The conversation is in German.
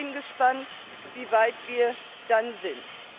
Ich bin gespannt, wie weit wir dann sind.